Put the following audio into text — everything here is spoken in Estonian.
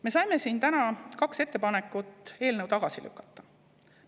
Me saime siin täna kaks ettepanekut eelnõu tagasi lükata.